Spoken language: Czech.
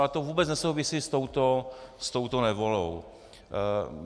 Ale to vůbec nesouvisí s touto novelou.